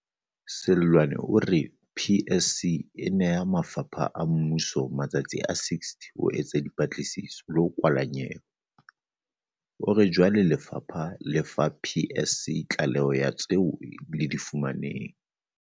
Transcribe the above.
Seloane o re PSC e neha mafapha a mmuso matsatsi a 60 a ho etsa dipatlisiso le ho kwala nyewe. O re jwale lefapha le fa PSC tlaleho ya tseo le di fumaneng.